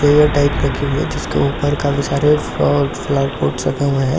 air type रखे हुए है जिसके ऊपर काफी सारे फरौर फ्लावर पॉट्स रखे हुए है और--